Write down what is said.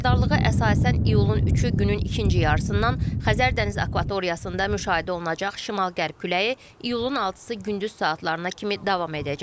Xəbərdarlığa əsasən iyulun 3-ü günün ikinci yarısından Xəzər dəniz akvatoriyasında müşahidə olunacaq şimal-qərb küləyi iyulun 6-sı gündüz saatlarına kimi davam edəcək.